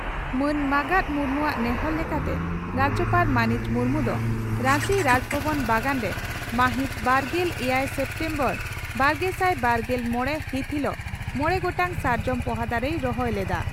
ᱢᱟᱱ ᱢᱟᱜᱟᱛ ᱢᱩᱨᱢᱩᱣᱟᱜ ᱱᱮᱦᱚᱨ ᱞᱮᱠᱟᱛᱮ ᱨᱟᱡᱭᱚᱯᱟᱲ ᱢᱟᱹᱱᱤᱡ ᱢᱩᱨᱢᱩ ᱫᱚ ᱨᱟᱧᱪᱤ ᱨᱟᱡᱽᱵᱷᱚᱵᱚᱱ ᱵᱟᱜᱟᱱ ᱨᱮ ᱢᱟᱹᱦᱤᱛ ᱵᱟᱨᱜᱮᱞ ᱮᱭᱟᱭ ᱥᱮᱯᱴᱮᱢᱵᱚᱨᱵᱟᱨᱜᱮᱥᱟᱭ ᱵᱟᱨᱜᱮᱞ ᱢᱚᱲᱮ ᱦᱤᱛ ᱦᱤᱞᱚᱜ ᱢᱚᱲᱮ ᱜᱚᱴᱟᱝ ᱥᱟᱨᱡᱚᱢ ᱯᱚᱦᱟ ᱫᱟᱨᱮᱭ ᱨᱚᱦᱚᱭ ᱞᱮᱫᱼᱟ ᱾